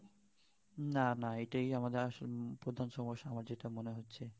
না না এইটাই আমাদের আসল প্রধান সমস্যা আমার যেটা মনে হচ্ছে